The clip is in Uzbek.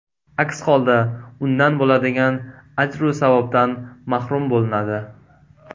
Aks holda undan bo‘ladigan ajru savobdan mahrum bo‘linadi.